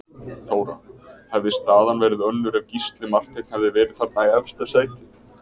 Þóra: Hefði staðan verið önnur ef Gísli Marteinn hefði verið þarna í efsta sæti?